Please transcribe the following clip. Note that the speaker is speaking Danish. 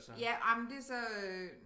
Ja ej men det så øh